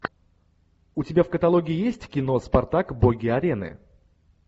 у тебя в каталоге есть кино спартак боги арены